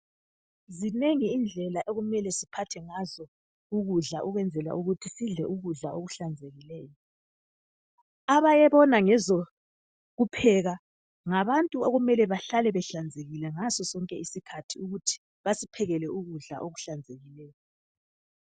Zinengi indlela okumele siphathe ngazo ukudla ukwenzela ukuthi sidle ukudla okuhlanzekileyo. Abayebona ngezokupheka ngabantu okumele bahlale behlanzekile ngaso sonke isikhathi ukuthi basiphekele ukudla okuhlanzekileyo.